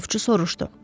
Ovçu soruşdu.